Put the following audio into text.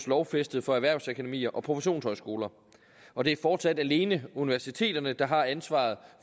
lovfæstet for erhvervsakademier og professionshøjskoler og det er fortsat alene universiteterne der har ansvaret